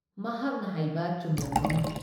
ꯃꯍꯥꯛꯅ ꯍꯥꯏꯕ ꯆꯨꯝꯂꯝꯒꯅꯤ ꯫